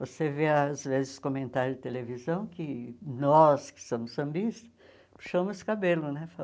Você vê, às vezes, comentários de televisão que nós, que somos sambistas, puxamos cabelo, né?